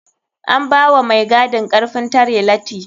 An bawa mai gadin karfin tare lati.